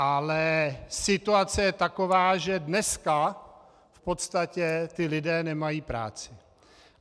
Ale situace je taková, že dneska v podstatě ti lidé nemají práci.